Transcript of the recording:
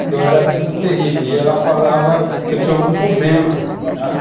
porque eu era muito terrível, e ela falava que eu tinha algum problema.